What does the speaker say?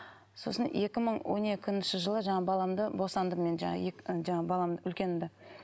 сосын екі мың он екінші жылы жаңағы баламды босандым мен жаңағы жаңағы баламды үлкенімді